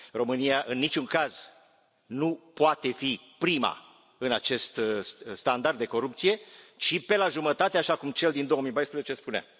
România în niciun caz nu poate fi prima în acest standard de corupție, ci pe la jumătate, așa cum cel din 2014 spunea.